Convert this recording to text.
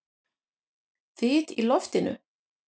Þyt í loftinu?